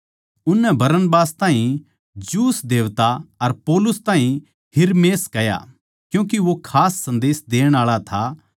उननै बरनबास ताहीं ज्यूस देवता अर पौलुस ताहीं हिरमेस कह्या क्यूँके वो बात करण म्ह खास था